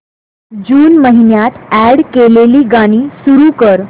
जून महिन्यात अॅड केलेली गाणी सुरू कर